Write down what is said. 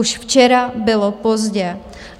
Už včera bylo pozdě.